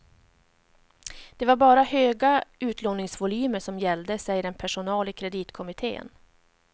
Det var bara höga utlåningsvolymer som gällde, säger en person i kreditkommittén.